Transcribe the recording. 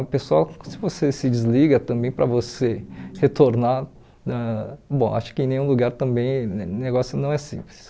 O pessoal, se você se desliga também para você retornar, ãh bom, acho que em nenhum lugar também o negócio não é simples.